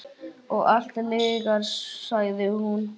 Og allt lygar, sagði hún.